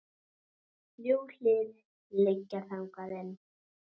Þrjú hlið liggja þangað inn.